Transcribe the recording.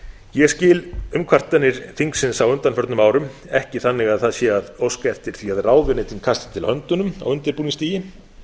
ég skil umkvartanir þingsins á undanförnum árum ekki þannig að það sé að óska eftir því að ráðuneytin kasti til höndunum á undirbúningsstigi